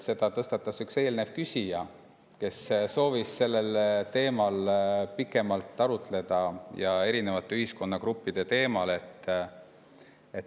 Selle tõstatas üks eelmine küsija, kes soovis sellel teemal, erinevate ühiskonnagruppide teemal pikemalt arutleda.